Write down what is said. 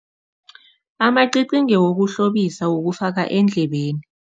Amacici ngewokuhlobisa wokufaka endlebeni.